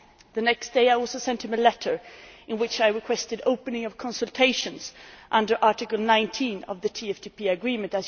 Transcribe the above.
The next day I also sent him a letter, in which I requested the opening of consultations under Article 19 of the TFTP Agreement.